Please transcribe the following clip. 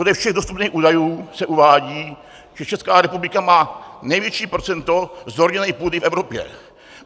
Podle všech dostupných údajů se uvádí, že Česká republika má největší procento zorněné půdy v Evropě.